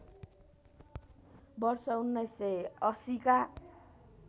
वर्ष १९८० का